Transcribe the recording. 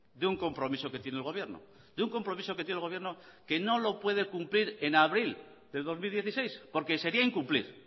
de un compromiso que tiene el gobierno de un compromiso que tiene el gobierno que no lo puede cumplir en abril de dos mil dieciséis porque sería incumplir